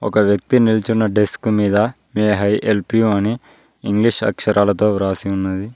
ఒక వ్యక్తి నిల్చున్న డెస్క్ మీద మే ఐ హెల్ప్ యు అని ఇంగ్లీష్ అక్షరాలతో వ్రాసి ఉన్నది.